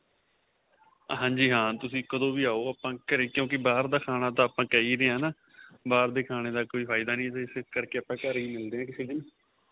ਹਾਂਜੀ ਹਾਂ ਤੁਸੀਂ ਕਦੋਂ ਵੀ ਆਹੋ ਆਪਾਂ ਘਰੇ ਕਿਉਂਕਿ ਬਹਾਰ ਦਾ ਖਾਣਾ ਤਾਂ ਆਪਾਂ ਕਹਿ ਹੀ ਰਹੇ ਆਂ ਬਹਾਰ ਦੇ ਖਾਣਾ ਦਾ ਕੋਈ ਫਾਇਦਾ ਨਹੀਂ ਇਸ ਕਰਕੇ ਆਪਾਂ ਘਰੇ ਮਿਲਦੇ ਆਂ ਕਿਸੇ ਦਿਨ